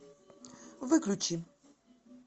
выключи